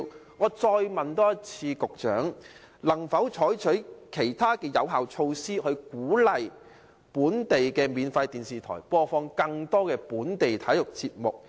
我現時再一次問局長，能否採取其他有效措施，以鼓勵本地免費電視台播放更多本地體育節目？